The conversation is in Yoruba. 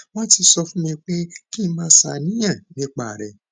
wọn ti sọ fún mi pé kí n má ṣàníyàn nípa rẹ